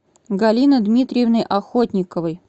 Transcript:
галины дмитриевны охотниковой